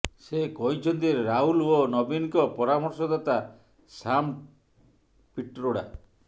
ସେ କହିଛନ୍ତି ଯେ ରାହୁଲ ଓ ନବୀନଙ୍କ ପରମର୍ଶଦାତା ସାମ୍ ପିଟ୍ରୋଡା